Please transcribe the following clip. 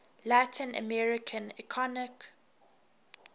latin american economic